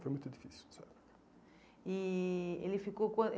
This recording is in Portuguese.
foi muito difícil nessa época. E ele ficou